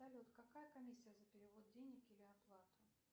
салют какая комиссия за перевод денег или оплату